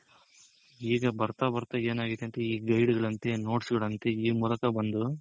ಈಗ ಬರ್ತಾ ಬರ್ತಾ ಏನಾಗಿದೆ ಅಂದ್ರೆ ಈ guide ಗಳಂತೆ ಈ notes ಗಳಂತೆ ಈ ಮೂಲಕ ಬಂದು